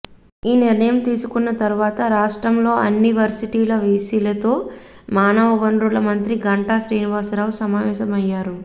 ఈ నిర్ణయం తీసుకున్న తరువాత రాష్ట్రంలో అన్ని వర్శిటీల విసిలతో మానవవనరుల మంత్రి గంటా శ్రీనివాసరావు సమావేశమయ్యారు